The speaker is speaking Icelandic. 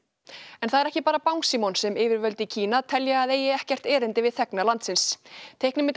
en það er ekki bara Bangsímon sem yfirvöld í Kína telja að eigi ekkert erindi við þegna landsins